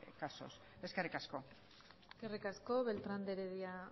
casos eskerrik asko eskerrik asko beltrán de heredia